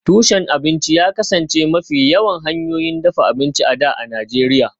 Tushen abinci ya kasance mafi yawan hanyoyin dafa abinci a da a Najeriya